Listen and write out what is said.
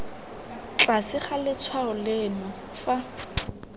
tlase ga letshwao leno fa